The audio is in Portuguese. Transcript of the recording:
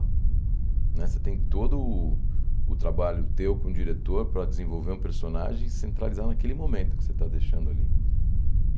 Né você tem todo o o trabalho teu com o diretor para desenvolver um personagem e centralizar naquele momento que você está deixando ali.